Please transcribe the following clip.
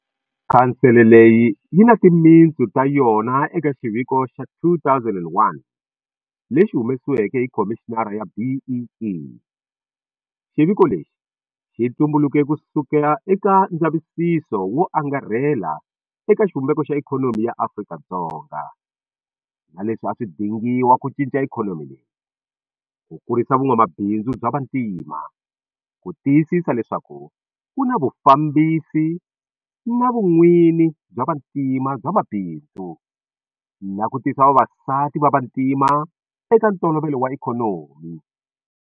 Khansele leyi yi na timitsu ta yona eka xiviko xa 2001 lexi humesiweke hi Khomixini ya BEE. Xiviko lexi xi tumbuluke kusuka eka ndzavisiso wo angarhela eka xivumbeko xa ikhonomi ya Afrika-Dzonga, na leswi a swi dingiwa ku cinca ikhonomi leyi, ku kurisa vun'wamabindzu bya vantima, ku tiyisisa leswaku ku na vufambisi na vun'wini bya vantima bya mabindzu, na ku tisa vavasati va vantima eka ntolovelo wa ikhonomi.